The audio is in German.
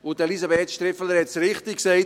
Und Elisabeth Striffeler hat es richtig gesagt: